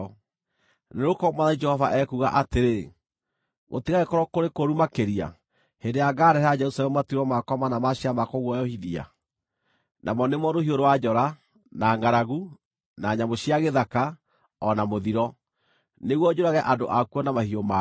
“Nĩgũkorwo Mwathani Jehova ekuuga atĩrĩ: Gũtigagĩkorwo kũrĩ kũũru makĩria hĩndĩ ĩrĩa ngaarehera Jerusalemu matuĩro makwa mana ma ciira ma kũguoyohithia: namo nĩmo rũhiũ rwa njora, na ngʼaragu, na nyamũ cia gĩthaka, o na mũthiro, nĩguo njũrage andũ akuo na mahiũ mao!